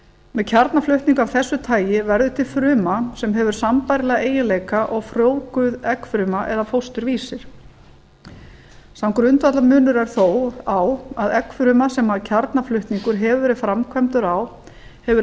með kjarnaflutning af þessu tagi verður til fruma sem hefur sambærilega eiginleika og frjóvguð eggfruma eða fósturvísir sá grundvallarmunur er þó á að eggfruma sem kjarnaflutningur hefur verið framkvæmdur á hefur